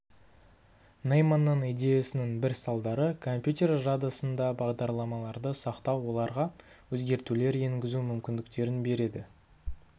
нейманның идеясының бір салдары компьютер жадысында бағдарламаларды сақтау оларға өзгертулер енгізу мүмкіндіктерін береді